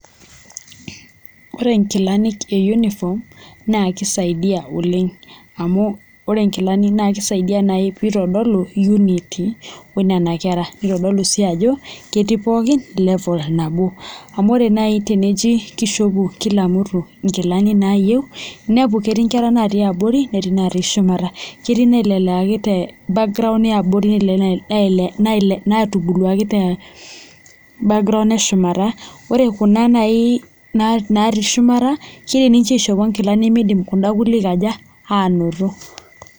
Ore inkilanik e uniform naa kisaidia oleng' amu ore inkilani naa ekisaidia naai pee itodolu unity oo nena kera neitodolu sii ajo ketii pookin level nabo amu ore nai teneji kishopu kila mtu inkilani naayieu neeku ketii inkera natii abori netii inatii shumata ketii naileleaki te background e abori netii inaitubuluaki te background eshumata ore kuna naii natii shumata keidiim aishopo inkilani neidiim kuna kule aji kaja? aanoto